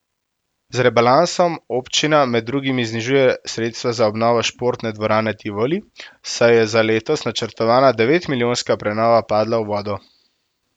Z rebalansom občina med drugim znižuje sredstva za obnovo športne dvorane Tivoli, saj je za letos načrtovana devetmilijonska prenova padla v vodo.